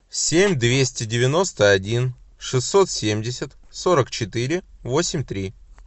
семь двести девяносто один шестьсот семьдесят сорок четыре восемь три